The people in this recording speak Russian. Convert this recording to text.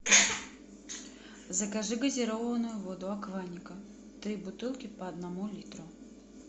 закажи газированную воду акваника три бутылки по одному литру